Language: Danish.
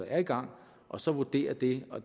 er i gang og så vurdere det og